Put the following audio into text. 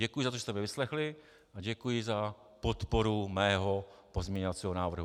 Děkuji za to, že jste mě vyslechli, a děkuji za podporu mého pozměňovacího návrhu.